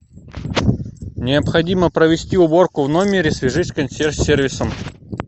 необходимо провести уборку в номере свяжись с консьерж сервисом